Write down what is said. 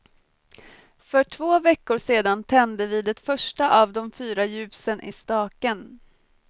För två veckor sedan tände vi det första av de fyra ljusen i staken.